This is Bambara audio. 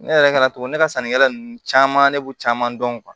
Ne yɛrɛ ka togo ne ka sannikɛla ninnu caman ne b'u caman dɔn